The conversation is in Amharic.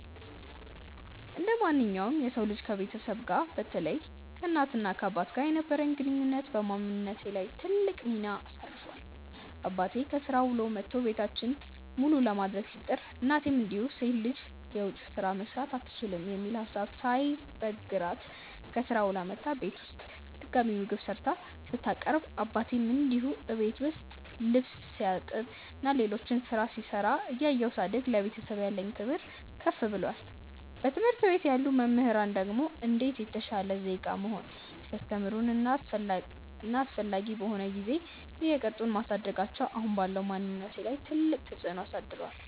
እንደማንኛውም የሰው ልጅ ከቤተሰቤ ጋር በተለይ ከእናት እና አባቴ ጋር የነበረኝ ግንኙነት በማንነቴ ላይ ትልቅ ሚና አሳርፏል። አባቴ ከስራ ውሎ መቶ ቤታችንን መሉ ለማድረግ ሲጥር፤ እናቴም እንዲሁ ሴት ልጅ የውጭ ስራ መስራት አትችልም የሚል ሀሳብ ሳይበግራት ከስራ ውላ መታ እቤት ውስጥ ድጋሚ ምግብ ሰርታ ስታቀርብ አባቴም እንዲሁ እቤት ውስጥ ልብስ ሲያጥብ እና ሌሎች ስራዎች ሲሰራ እያየው ሳድግ ለቤተሰብ ያለኝ ክብር ከፍ ብሏል። በትምህርት ቤት ያሉ መምህራን ደግሞ እንዴት የተሻለ ዜጋ መሆን ሲያስተምሩን እና አስፈላጊ በሆነ ጊዜ እየቀጡን ማሳደጋቸው አሁን ባለው ማንነቴ ላይ ትልቅ ተፅዕኖ አሳድሯል።